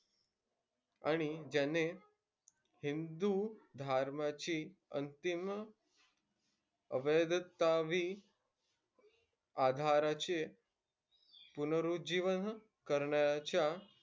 आणि ज्याने हिंदू धर्माची अंतिम आधाराचे पुनरुज्जीवन करण्याच्या,